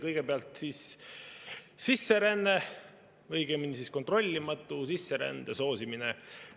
Kõigepealt sisseränne, õigemini, kontrollimatu sisserände soosimine.